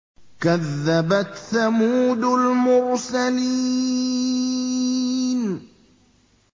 كَذَّبَتْ ثَمُودُ الْمُرْسَلِينَ